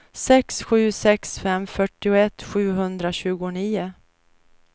sex sju sex fem fyrtioett sjuhundratjugonio